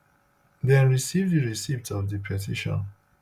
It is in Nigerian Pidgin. dem receive di receipt of di petition